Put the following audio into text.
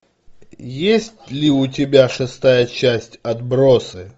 есть ли у тебя шестая часть отбросы